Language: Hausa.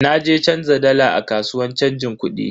Na je canza dala a kasuwan chanjin kudi.